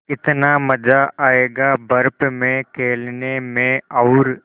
कितना मज़ा आयेगा बर्फ़ में खेलने में और